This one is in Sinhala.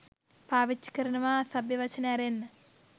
පාවිච්චි කරනවා අසභ්‍ය වචන ඇරෙන්න.